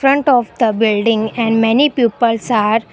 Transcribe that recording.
front of the building and many peoples are --